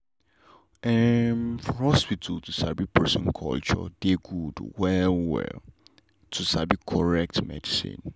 em for hospital to sabi person culture dey good well well like to sabi correct medicine.